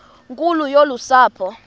nkulu yolu sapho